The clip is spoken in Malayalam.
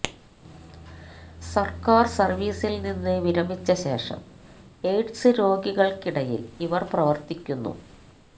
സര്ക്കാര് സര്വ്വീസില് നിന്ന് വിരമിച്ച ശേഷം എയ്ഡ്സ് രോഗികള്ക്കിടയില് ഇവര് പ്രവര്ത്തിക്കുന്നു